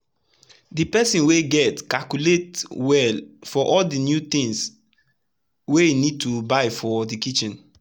the person wey get calculate well for all the new things wey e need to buy for kitchen.